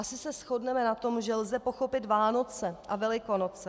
Asi se shodneme na tom, že lze pochopit Vánoce a Velikonoce.